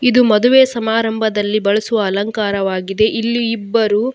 ಇದು ಮದುವೆ ಸಮಾರಂಭದಲ್ಲಿ ಬಳಸುವ ಅಲಂಕಾರವಾಗಿದೆ ಇಲ್ಲಿ ಇಬ್ಬರು.